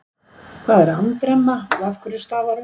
Hvað er andremma og af hverju stafar hún?